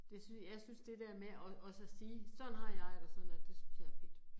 Det synes, jeg synes det der med at at også at sige, sådan har jeg, eller sådan at det synes jeg er fedt